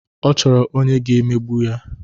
Ọ chọrọ onye ọ ga-emegbu.